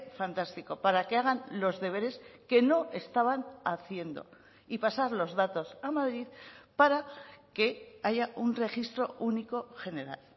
fantástico para que hagan los deberes que no estaban haciendo y pasar los datos a madrid para que haya un registro único general